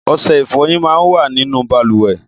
Ọṣẹ ìfọyín mà n wà ninú bàlùwẹ̀